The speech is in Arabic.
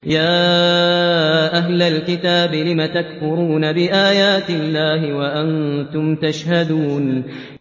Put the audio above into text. يَا أَهْلَ الْكِتَابِ لِمَ تَكْفُرُونَ بِآيَاتِ اللَّهِ وَأَنتُمْ تَشْهَدُونَ